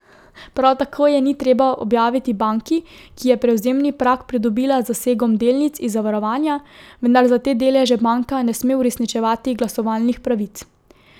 Prav tako je ni treba objaviti banki, ki je prevzemni prag pridobila z zasegom delnic iz zavarovanja, vendar za te deleže banka ne sme uresničevati glasovalnih pravic.